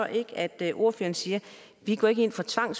ikke at ordføreren siger vi går ikke ind for tvang